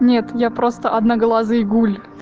нет я просто одноглазый гуль